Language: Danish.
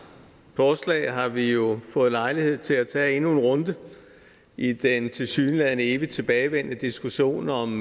forslag har vi jo fået lejlighed til at tage endnu en runde i den tilsyneladende evigt tilbagevendende diskussion om